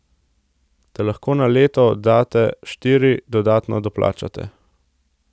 Te lahko na leto oddate štiri, dodatne doplačate.